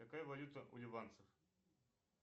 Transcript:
какая валюта у ливанцев